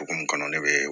Okumu kɔnɔ ne bee